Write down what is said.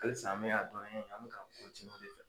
Halisa an bɛ ka dɔnniya ɲini an bɛ ka o de fɛ.